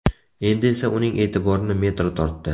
Endi esa uning e’tiborini metro tortdi.